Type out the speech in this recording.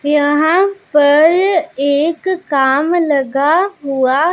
यहां पर एक काम लगा हुआ--